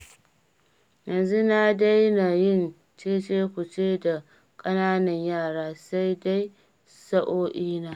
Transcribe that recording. Yanzu na dena yin cece-ku-ce da ƙananan yara, sai dai sa'o'ina